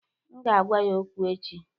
Aga m agwa ya okwu echi.